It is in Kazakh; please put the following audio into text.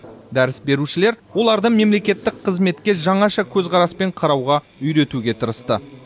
дәріс берушілер оларды мемлекеттік қызметке жаңаша көзқараспен қарауға үйретуге тырысты